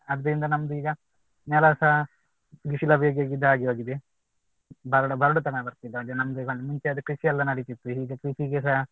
ಅದ್ರಿಂದ ನಮ್ದ್ ಈಗ ನೆಲಸ ಬಿಸಿಲ ಬೇಗೆಗೆ ಇದಾಗಿ ಹೋಗಿದೆ ಬರಡು ಬರಡುತನ ಬರ್ತಿದೆ ನಮ್ಗೆಲ್ಲಾ ಮುಂಚೆ ಕೃಷಿ ಎಲ್ಲ ನಡೀತಿತ್ತು ಈಗ ಕೃಷಿಗೆಸ